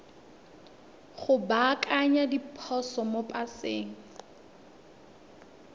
go baakanya diphoso mo paseng